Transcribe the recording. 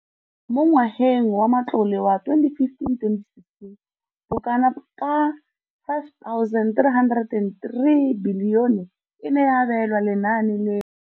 Mo ngwageng wa matlole wa 2015 le 2016, bokanaka R5 703 bilione e ne ya abelwa lenaane leno.